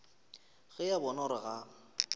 ge a bona gore ga